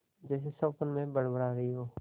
जैसे स्वप्न में बड़बड़ा रही हो